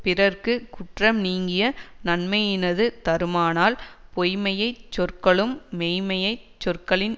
பிறர்க்கு குற்றம் நீங்கிய நன்மையினது தருமானால் பொய்ம்மைச் சொற்களும் மெய்ம்மைச் சொற்களின்